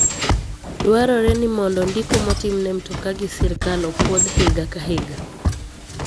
Dwarore ni mondo ndiko motimne mtoka gi sirkal opwodh higa ka higa.